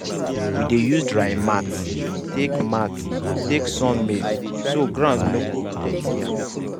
we dey use drying mat take mat take sun maize so ground no go dirty am.